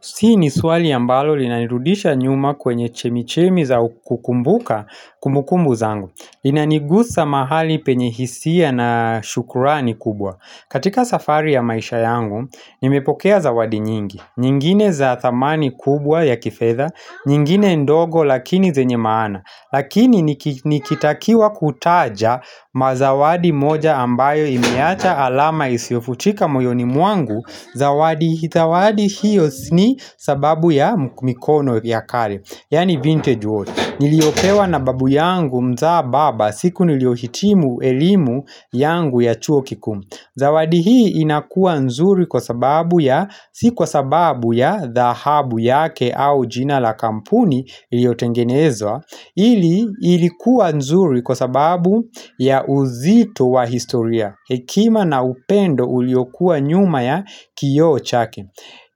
Si ni swali ya ambalo linanirudisha nyuma kwenye chemichemi za kukumbuka kumbukumbu zangu. Inanigusa mahali penye hisia na shukrani kubwa. Katika safari ya maisha yangu, nimepokea zawadi nyingi. Nyingine za thamani kubwa ya kifedha, nyingine ndogo lakini zenye maana. Lakini niki nikitakiwa kutaja ma zawadi moja ambayo imeacha alama isiofuchika mojoni mwangu. Zawadi hithawadi hiyo ni sababu ya mikono vya kale Yani vintage watch Niliyopewa na babu yangu mzaa baba siku niliohitimu elimu yangu ya chuo kikuu Zawadi hii inakua nzuri kwa sababu ya sikuwa sababu ya dhahabu yake au jina la kampuni liotengenezwa hili ilikuwa nzuri kwa sababu ya uzito wa historia Hekima na upendo uliokua nyuma ya kioo chake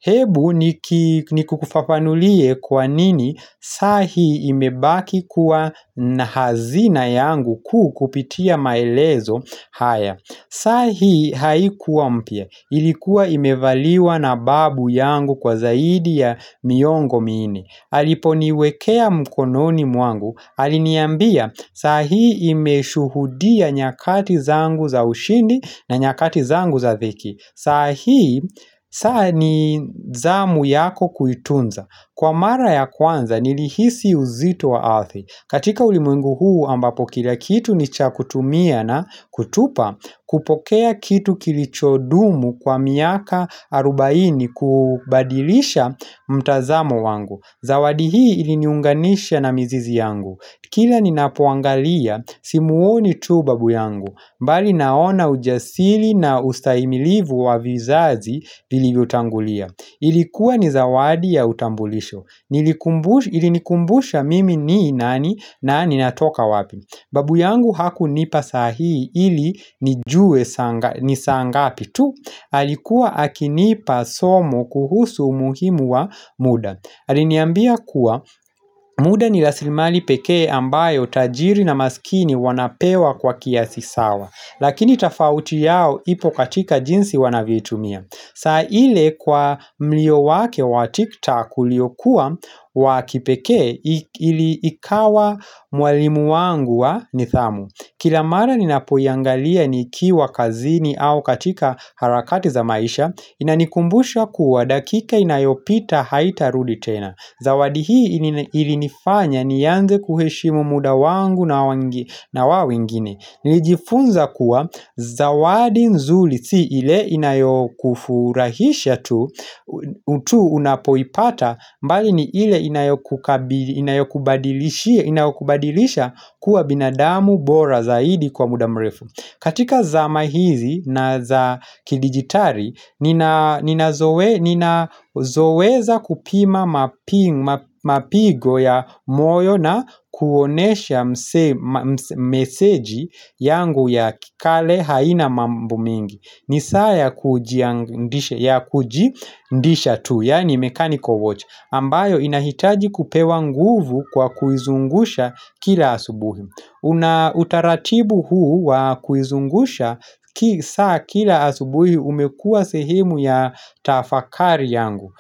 Hebu niki nikufafanulie kwa nini saa hii imebaki kuwa na hazina yangu kuu kupitia maelezo haya saa hii haikuwa mpya ilikuwa imevaliwa na babu yangu kwa zaidi ya miongo minne aliponiwekea mkononi mwangu, aliniambia saa hii imeshuhudia nyakati zangu za ushindi na nyakati zangu za thiki sa hii, saa ni zamu yako kuitunza Kwa mara ya kwanza nilihisi uzito wa athi katika ulimwengu huu ambapo kila kitu nicha kutumia na kutupa kupokea kitu kilichodumu kwa miaka arubaini kubadilisha mtazamo wangu Zawadi hii iliniunganisha na mizizi yangu Kila ninapoangalia, simuoni tu babu yangu mbali naona ujasili na ustahimilivu wa vizazi Ilikuwa ni zawadi ya utambulisho Ilinikumbusha mimi ni nani na ninatoka wapi Babu yangu hakunipa saa hii ili nijue saa ni saa ngapi tu alikuwa akinipa somo kuhusu umuhimu wa muda Aliniambia kuwa muda ni raslimali pekee ambayo tajiri na maskini wanapewa kwa kiasi sawa Lakini tafauti yao ipo katika jinsi wanavyoitumia saa ile kwa mlio wake wa tiktak uliokuwa wa kipekee ili ikawa mwalimu wangu wa nidhamu Kila mara ninapoiangalia nikiwa kazini au katika harakati za maisha inanikumbusha kuwa dakika inayopita haitarudi tena zawadi hii ili nifanya nianze kuheshimu muda wangu na wawingine nilijifunza kuwa zawadi nzuri si ile inayokufurahisha tu unapoipata mbali ni ile inayokubadilisha kuwa binadamu bora zaidi kwa muda mrefu katika zama hizi na za kidijitari, nina ninazo ninazoweza kupima mapi mapigo ya moyo na kuonesha mseji yangu ya kikale haina mambo mingi. Ni saa kujidisha tu, yani mechanical watch. Ambayo inahitaji kupewa nguvu kwa kuizungusha kila asubuhi. Una utaratibu huu wa kuizungusha ki saa kila asubuhi umekua sehemu ya tafakari yangu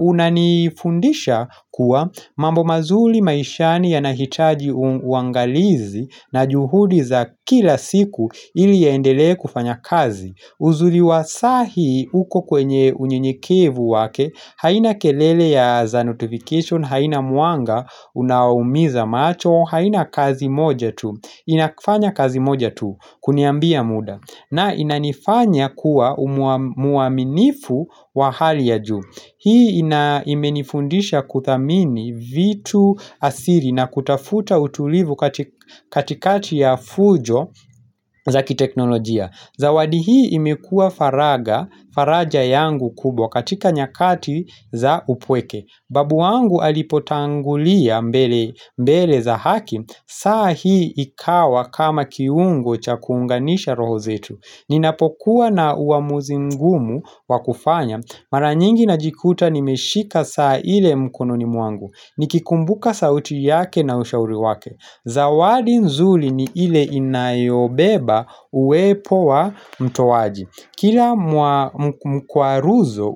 Unanifundisha kuwa mambo mazuli maishani yanahitaji uangalizi na juhudi za kila siku ili yaendelee kufanya kazi uzuri wa saa hiii uko kwenye unyenyekevu wake, haina kelele ya za notification, haina mwanga, unaumiza macho, haina kazi moja tu, inakufanya kazi moja tu, kuniambia muda, na inanifanya kuwa mwaminifu wa hali ya juu. Hii ina imenifundisha kuthamini vitu asiri na kutafuta utulivu katikati ya fujo zaki teknolojia Zawadi hii imekua faraga faraja yangu kubwa katika nyakati za upweke Babu wangu alipotangulia mbele za haki saa hii ikawa kama kiungo cha kuunganisha roho zetu Ninapokuwa na uamuzi ngumu wakufanya Mara nyingi najikuta nimeshika saa ile mkono mwangu Nikikumbuka sauti yake na ushauri wake Zawadi nzuri ni ile inayobeba uwepo wa mtowaji Kila mkwaruzo.